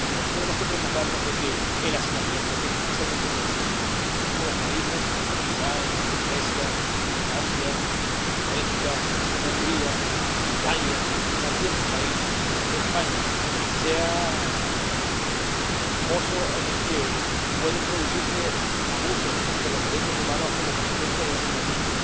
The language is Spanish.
Por eso tenemos que preocuparnos de que el hacinamiento, que es especialmente sensible en algunos países —Portugal, Grecia, Francia, Bélgica, Hungría, Italia y también mi país, España—, no sea el poso en el que pueden producirse abusos de los derechos humanos como consecuencia de hacinamiento